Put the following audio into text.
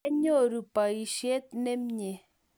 kianyoru poishet nemie